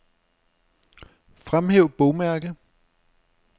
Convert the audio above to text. Fremhæv bogmærke.